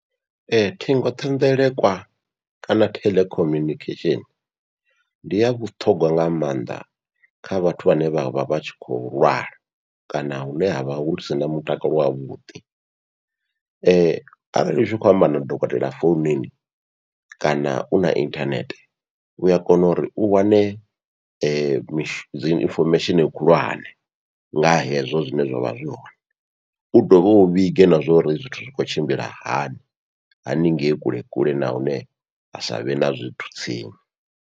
Ee ṱhingothenḓelekwa kana theḽe communication ndi ya vhuṱhogwa nga maanḓa kha vhathu vhane vha vha vha tshi kho lwala, kana hune havha husina mutakalo wavhuḓi arali utshi khou amba na dokotela foununi kana u na inthanethe ua kona uri u wane mi dziinfomesheni khulwane nga hezwo zwine zwavha zwi hone, u dovhe u vhige na zwa uri zwithu zwi khou tshimbila hani haningei kule kule na hune ha savhe na zwithu tsini.